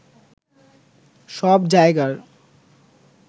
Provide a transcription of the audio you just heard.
সব জায়গার